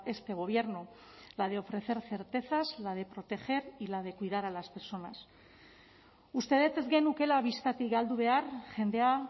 este gobierno la de ofrecer certezas la de proteger y la de cuidar a las personas uste dut ez genukeela bistatik galdu behar jendea